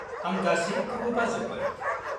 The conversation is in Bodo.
आं गासिबखौबो बाजोब्बाय।